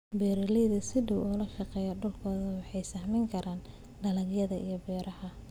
Beeraleyda sida dhow ula shaqeeya dhulkooda waxay sahmin karaan dalagyada iyo beeraha.